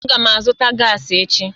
Aga m azụta gaasi echi